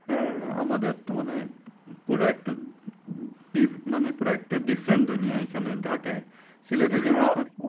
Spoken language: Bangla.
হ্যাঁ হ্যাঁ আমাদের তো মানে পুরো একটা উম মানে পুরো একটা different দুনিয়া এইখানে ঢাকায়